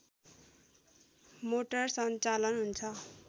motor सञ्चालन हुन्छ